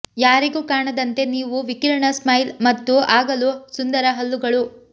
ಯಾರಿಗೂ ಕಾಣದಂತೆ ನೀವು ವಿಕಿರಣ ಸ್ಮೈಲ್ ಮತ್ತು ಆಗಲು ಸುಂದರ ಹಲ್ಲುಗಳು